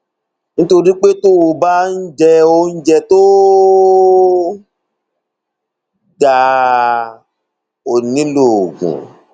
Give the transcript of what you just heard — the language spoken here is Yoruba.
nítorí pé tó o bá ń jẹ oúnjẹ tó dáa o ò ní nílò oògùn